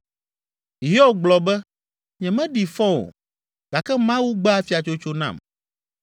“Hiob gblɔ be, ‘Nyemeɖi fɔ o gake Mawu gbe afiatsotso nam